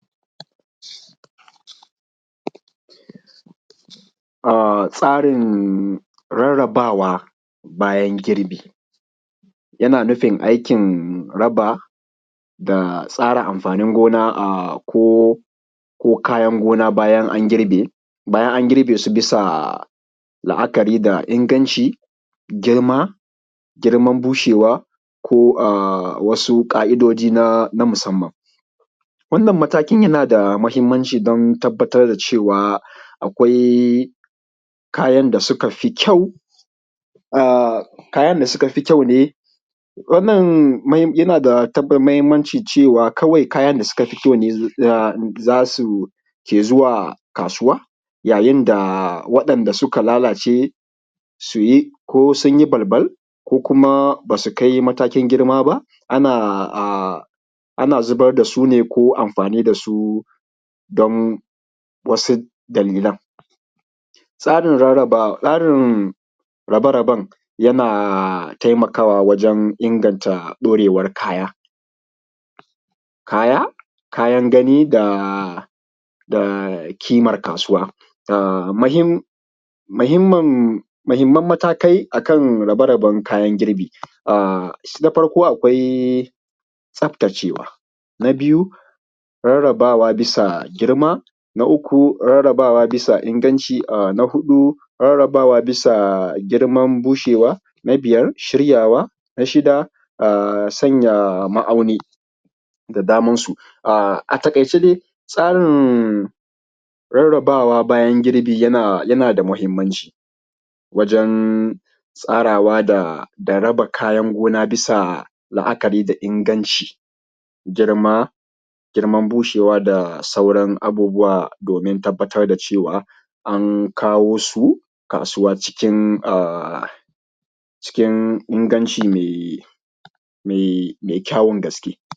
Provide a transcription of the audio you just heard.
Tsarin rarabawa bayan girbi yana nufi aikin raba da tsara amfanin gona ko kayan gona bayan an girbe, bayan an girbe su bisa la'akari da inganci, girma, girman bushewa, ko wasu ƙa'idojji na musanman. Wannan matakin yana da mahinmanci don tabattar da cewa akwai kayan da suka fi kyau, kayan da suka fi kyau ne za su ke zuwa kasuwa yayin da waɗanda suka lalace ko suyi, ko sun yi ɓalɓal ko kuma basu kai matakin girma ba, ana zubar da sune ko amfanin da su don wasu dalilan. Tsarin rabe raben yana taimakawa wajen inganta ɗaurewan kaya. Kayan ganin da kiman kasuwa, muhinmanan matakai akan raberaben kayan girbi na farko akwai tsaftacewa, na biyu rarabawa bisa girma, na uku rarabawa bisa inganci, na hudu rarabawa bisa girman bushewa, na biyar shiryawa, na shida sanya ma'auni da daman su. A taƙaice dai tsarin rarabawa bayan girbi yana da mahinmanci wajan tsarawa da raba kayan gona bisa la'akari da inganci, girma, girman bushewa, da sauran abubuwa domin tabattar da cewa an kawo su kasuwa cikin inganci mai kyawan gaske.